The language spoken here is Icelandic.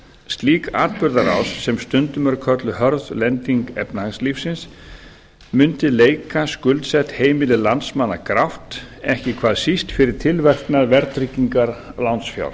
slík atburðarás sem stundum er kölluð hörð lending efnahagslífsins mundi leika skuldsett heimili landsmanna grátt ekki hvað síst fyrir tilverknað verðtryggingar lánsfjár